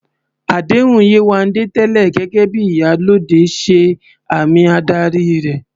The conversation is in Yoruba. Àdéhùn Yewande tẹ́lẹ̀ gẹ́gẹ́ bí "Iyalode" ṣe àmì ìdarí rẹ̀